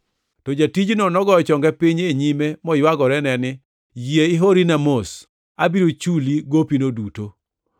“To jatijno nogoyo chonge piny e nyime, moywagorene ni, ‘Yie ihorina mos, abiro chuli gopino duto.’